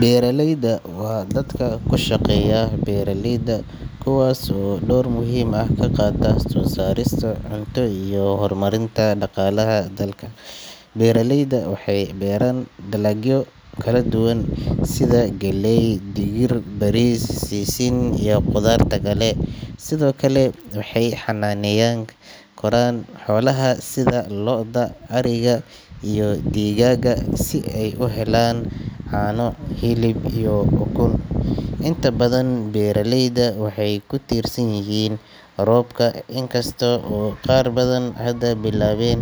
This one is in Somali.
Beeraleydu waa dadka ku shaqeeya beeralayda, kuwaas oo door muhiim ah ka qaata soo saarista cunto iyo horumarinta dhaqaalaha dalka. Beeraleyda waxay beeraan dalagyo kala duwan sida galley, digir, bariis, sisin iyo khudaarta kale. Sidoo kale, waxay xanaaneyn karaan xoolaha sida lo’da, ariga, iyo digaagga si ay u helaan caano, hilib iyo ukun. Inta badan beeraleyda waxay ku tiirsan yihiin roobka, inkasta oo qaar badan hadda bilaabeen